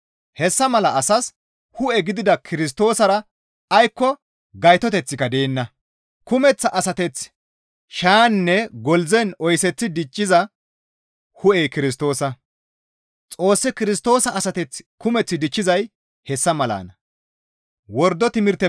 Hessa mala asas hu7e gidida Kirstoosara aykko gaytoteththika deenna; kumeththa asateth shayaninne koldzen oyseththi dichchiza hu7ey Kirstoosa; Xoossi Kirstoosa asateth kumeth dichchizay hessa malanna.